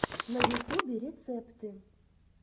на ютубе рецепты